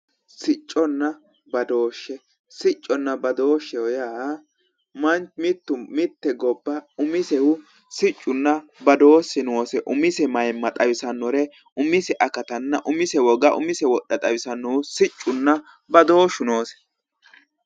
Sicconna badooshshe. Sicconna badooshsheho yaa mitte gobba umisehu siccunna badooshshe noose. Umise mayimma xawisannore umise akatanna umise woga umise wodha xawisannohu siccunna badooshshu noose.